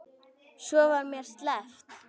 Svo var mér sleppt.